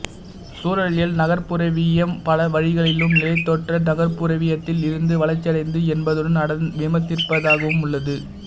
சூழலியல் நகர்ப்புறவியம் பல வழிகளிலும் நிலத்தோற்ற நகர்ப்புறவியத்தில் இருந்து வளர்ச்சியடைந்தது என்பதுடன் அதனை விமர்சிப்பதாகவும் உள்ளது